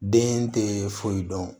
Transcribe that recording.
Den tɛ foyi dɔn